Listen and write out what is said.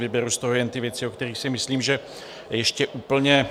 Vyberu z toho jen ty věci, o kterých si myslím, že ještě úplně...